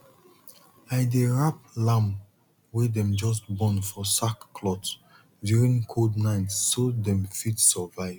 i dey wrap lamb wey dem just born for sackcloth during cold night so dem fit survive